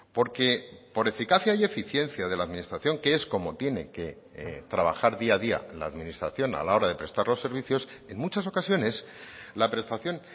porque por eficacia y eficiencia de la administración que es como tiene que trabajar día a día la administración a la hora de prestar los servicios en muchas ocasiones la prestación